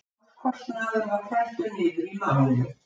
Málskostnaður var felldur niður í málinu